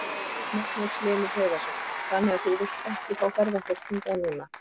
Magnús Hlynur Hreiðarsson: Þannig að þú vilt ekki fá ferðafólk hingað núna?